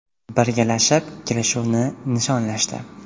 Birgalashib, kelishuvni nishonlashdi.